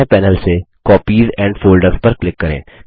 बाएँ पैनल से copies and folders पर क्लिक करें